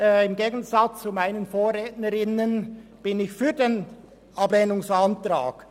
Im Gegensatz zu meinen Vorrednerinnen und Vorrednern bin ich für den Ablehnungsantrag.